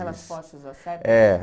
Aquelas poças, certo? É